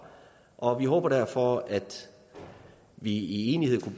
og vi håbede derfor at vi i enighed